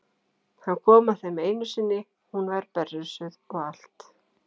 Hann kom að þeim einu sinni, hún var berrössuð og allt.